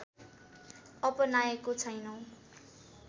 अपनाएको छैनौं